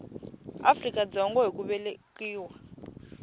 afrika dzonga hi ku velekiwa